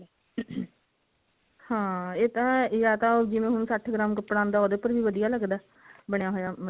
ਹਾਂ ਇਹ ਤਾਂ ਜਾ ਤਾਂ ਉਹ ਹੁਣ ਜਿਵੇਂ ਸੱਠ ਗ੍ਰਾਮ ਕੱਪੜਾ ਆਉਂਦਾ ਉਹਦੇ ਉੱਪਰ ਵੀ ਵਧੀਆਂ ਲੱਗਦਾ ਬਣਿਆ ਹੋਇਆ